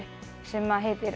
sem heitir